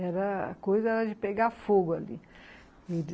Era coisa de pegar fogo ali.